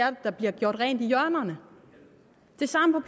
at der blev gjort rent i hjørnerne det samme